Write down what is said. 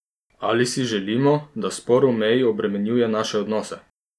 Ali si želimo, da spor o meji obremenjuje naše odnose?